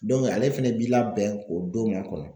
ale fɛnɛ bi labɛn k'o don makɔnɔ.